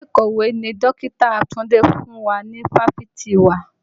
Gègé ìkọ̀wé ni dọkita Túndé fún wa ni ifáfitì wa.